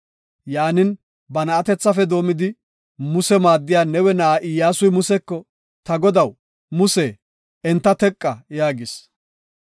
Yaanin, ba na7atethafe doomidi, Muse maaddiya Nawe na7aa Iyyasuy Museko, “Ta godaw, Muse, enta teqa” yaagis.